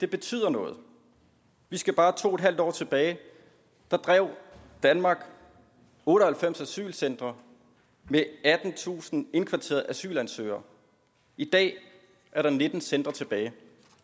betyder noget vi skal bare to en halv år tilbage der drev danmark otte og halvfems asylcentre med attentusind indkvarterede asylansøgere i dag er der nitten centre tilbage